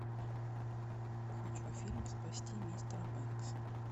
хочу фильм спасти мистера бэнкса